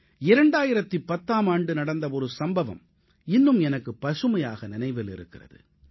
2010ஆம் ஆண்டு நடந்த ஒரு சம்பவம் இன்னும் எனக்கு பசுமையாக நினைவிலிருக்கிறது